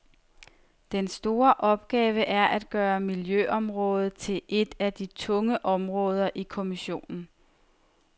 Den store opgave er at gøre miljøområdet til et af de tunge områder i kommissionen.